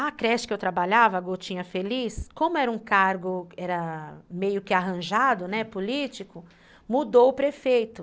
A creche que eu trabalhava, a Gotinha Feliz, como era um cargo meio que arranjado, político, mudou o prefeito.